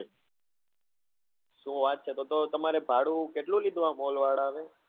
શું વાત છે તો તો તમારે ભાડું કેટલું લીધું આ mall વાળા એ?